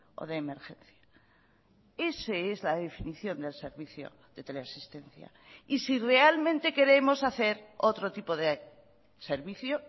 o de emergencia ese es la definición del servicio de tele asistencia y si realmente queremos hacer otro tipo de servicio